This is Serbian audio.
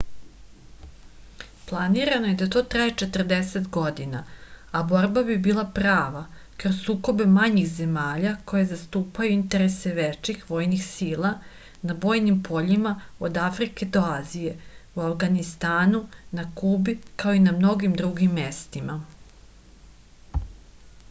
planirano je da traje 40 godina a borba bi bila prava kroz sukobe manjih zemalja koje zastupaju interese većih vojnih sila na bojnim poljima od afrike do azije u avganistanu na kubi kao i na mnogim drugim mestima